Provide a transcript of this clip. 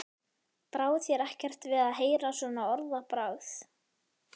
Brá þér ekkert við að heyra svona orðbragð?